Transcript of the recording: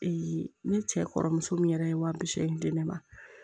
ne cɛ kɔrɔmuso min yɛrɛ ye wa bi seegin di ne ma